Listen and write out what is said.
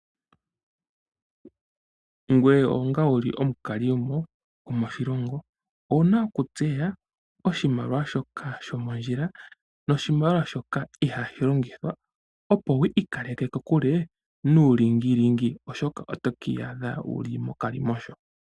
Ngoye onga wuli omukalimo gomoshilongo owu na okutseya oshimaliwa shoka shomondjila, nodhimaliwa shoka ihashi longithwa opo wu ikaleke kokule nuulingililingi, oshoka otoka iyadha wuli mokalimosho.